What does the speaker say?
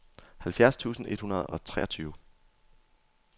halvfjerds tusind et hundrede og treogtyve